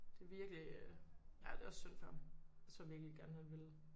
Det virkelig øh ja det er også syndt for ham. Jeg tror virkelig gerne han ville